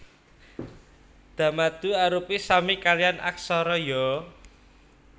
Da madu arupi sami kaliyan aksara Ya